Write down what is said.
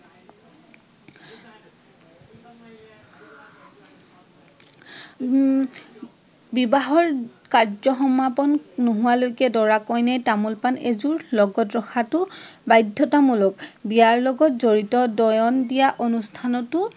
উম বিবাহৰ কাৰ্য্য সমাপণ নোহোৱালৈকে দৰা কন্যাই তামোল পাণ এযোৰ লগত ৰখাটো বাধ্যতামূলক। বিয়াৰ লগত জড়িত দয়ন দিয়া অনুষ্ঠানতো